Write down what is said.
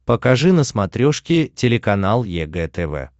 покажи на смотрешке телеканал егэ тв